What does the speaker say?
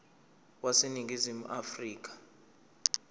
wase ningizimu afrika